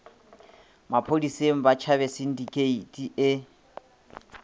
maphodiseng ba tšhabe sindikheiti e